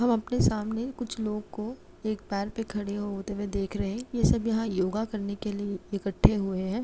हम अपने सामने कुछ लोग को एक पैर पे खड़े होते हुए देख रहे ये सब यहाँ योगा करने के लिए इकट्ठे हुए हैं।